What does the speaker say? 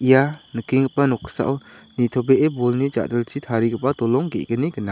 ia nikenggipa noksao nitobee bolni ja·dilchi tarigipa dolong ge·gni gnang.